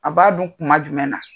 A b'a dun kuma jumɛn na?